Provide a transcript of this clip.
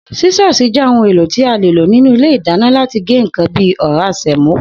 Sísó̩ò̩sì je̩ ohun èlò tí a lè lò nínú ilé ìdáná láti gé nǹkan bí i ò̩rá sè̩mó